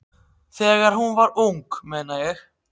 Þegar hún var ung, meina ég.